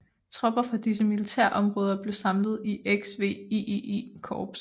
Tropper fra disse militærområder blev samlet i XVIII Korps